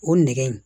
O nɛgɛ in